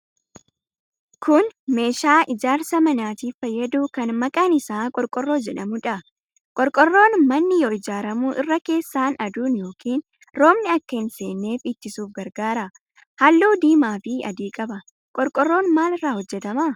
Kun meeshaa ijaarsa manaatiif fayyadu kan maqaan isaa qorqorroo jedhamuudha. Qorqorroon manni yoo ijaaramu irra keessaan aduun yookiin roobni akka hin seenneef ittisuuf gargaara. Halluu diimaafi adii qaba. Qorqorroon maal irraa hojjetama?